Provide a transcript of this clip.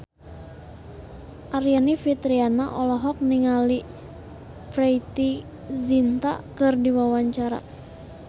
Aryani Fitriana olohok ningali Preity Zinta keur diwawancara